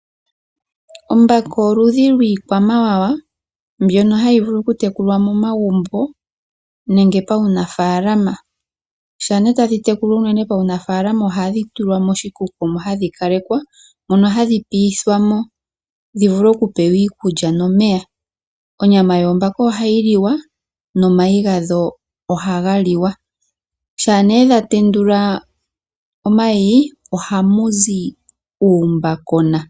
Omabaka oludhi lii kwamawawa mbyono hayi vulu oku tekulwa momagumbo nenge pa wu nafaalama. Sha nee tadhi tekulwa unene pawu mafalama , ohadhi tulwa moshikuku moka hadhi kalekwa, mono hadhi piithwamo dhi vule ojupewa iikulya nomeya. Onyama yoombaka ohayi kiwa no mayi ga dho ohaga liwa. Sha nee dha tendula omayi , ohamu zi uumbakona.